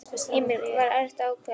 Heimir: Var erfitt að ákveða sig?